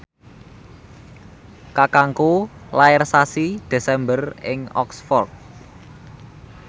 kakangku lair sasi Desember ing Oxford